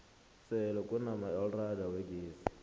sele kunamaelrada wegezi